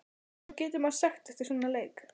Hvað getur maður sagt eftir svona leik?